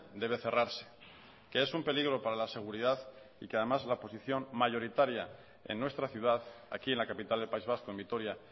debe cerrarse que es un peligro para la seguridad y que además la oposición mayoritaria en nuestra ciudad aquí en la capital del país vasco en vitoria